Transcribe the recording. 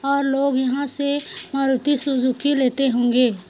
--लोग यहाँ से मारूति सुजुकी लेते होंगे।